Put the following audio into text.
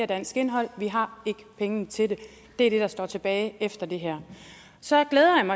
dansk indhold vi har ikke pengene til det det er det der står tilbage efter det her så glæder